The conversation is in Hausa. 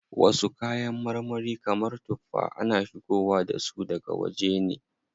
Wasu kayan marmari kamar tuffa, ana shigowa dasu daga waje ne.